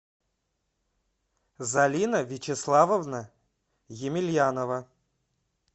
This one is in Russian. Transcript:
залина вячеславовна емельянова